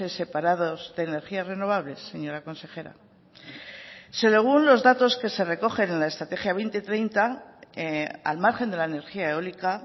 separados de energías renovables señora consejera según los datos que se recogen en la estrategia dos mil treinta al margen de la energía eólica